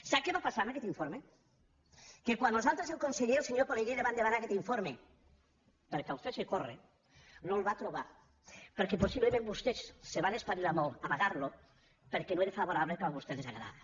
sap què va passar amb aquest informe que quan nosaltres al conseller el senyor pelegrí li vam demanar aquest informe perquè el fes córrer no el va trobar perquè possiblement vostès se van espavilar molt a amagar lo perquè no era favorable al que a vostès els agradava